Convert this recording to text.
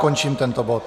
Končím tento bod.